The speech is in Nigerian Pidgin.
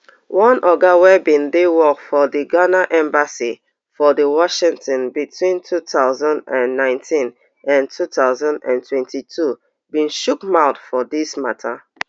one oga wey bin dey work for di ghana embassy for di washington between two thousand and nineteen and two thousand and twenty-two bin chook mouth for dis mata